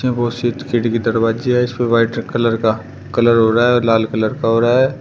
बहुत से खिड़की दरवाजे है इसपे वाइट कलर का कलर हो रहा है और लाल कलर का हो रहा है।